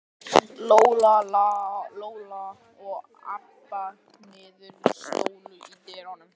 Lóa-Lóa og Abba hin stóðu í dyrunum.